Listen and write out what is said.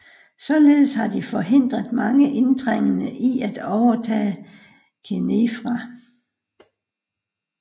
Således har de forhindret mange indtrængende i at overtage Khénifra